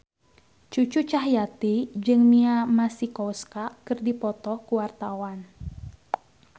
Cucu Cahyati jeung Mia Masikowska keur dipoto ku wartawan